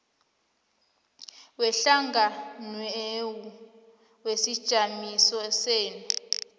wehlanganwenu wesijamiso senu